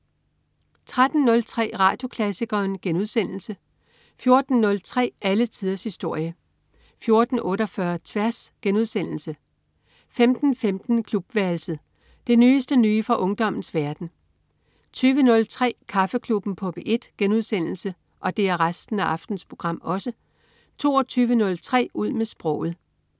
13.03 Radioklassikeren* 14.03 Alle tiders historie 14.48 Tværs* 15.15 Klubværelset. Det nyeste nye fra ungdommens verden 20.03 Kaffeklubben på P1* 22.03 Ud med sproget*